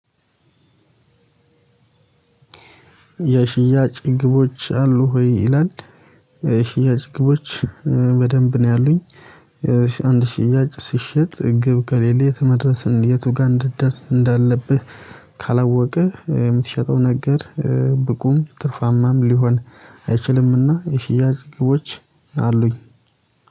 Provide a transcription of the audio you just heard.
የሽያጭ ግቦች አሉ ወይ? ይላል የሽያጭ ግቦች በደንብ ነው ያሉኝ አንድ ሽያጭ ስሸጥ ግብ ከሌለ የተመደረሰን የቱ ጋር እንድትደርስ እንዳለብህ ካላወቅህ የምትሸጠው ነገር ብቁም ጥፋማም ሊሆን አይችልምና የሽያጭ ግቦች አሉኝ